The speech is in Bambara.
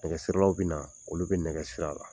Nɛgɛsilaw bɛ na olu bɛ nɛgɛ siri a la